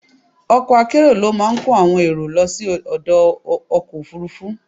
Ọkọ̀ akérò ló máa kó àwọn èrò lọ sí ọdọ̀ ọkọ̀ Òfurufú.